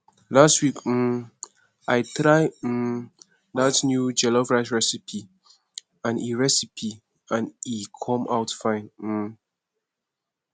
last week um i try um dat new jollof rice recipe and e recipe and e come out fine um